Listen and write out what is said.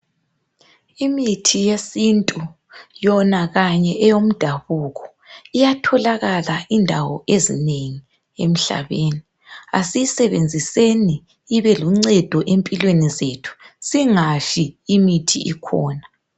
Imithi yesintu yona kanye eyomdabuko iyatholakala indawo ezinengi emhlabeni. Asiyisebenziseni ibeluncedo empilweni zethu, singafi imithi ikhona.